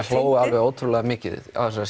hló alveg ótrúlega mikið á þessar